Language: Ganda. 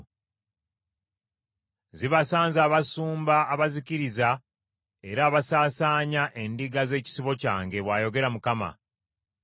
“Zibasanze abasumba abazikiriza era abasaasaanya endiga z’ekisibo kyange!” bw’ayogera Mukama .